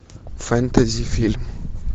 фэнтези фильм